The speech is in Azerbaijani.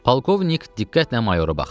Polkovnik diqqətlə mayora baxdı.